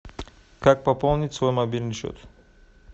как пополнить свой мобильный счет